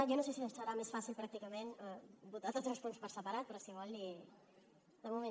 jo no sé si serà més fàcil pràcticament votar tots els punts per separat però si vol l’hi